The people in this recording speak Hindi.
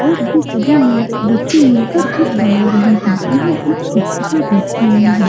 और ये सभी मिल बच्चे मिलकर कुछ बना रहे हैं यहाँ एक शिक्षिका बैठी हुई हैं।